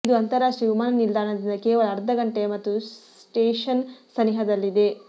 ಇದು ಅಂತರಾಷ್ಟ್ರೀಯ ವಿಮಾನ ನಿಲ್ದಾಣದಿಂದ ಕೇವಲ ಅರ್ಧ ಘಂಟೆಯ ಮತ್ತು ಸ್ಟೇಷನ್ ಸನಿಹದಲ್ಲಿದೆ